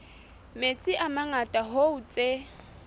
metsi a mangata hoo tse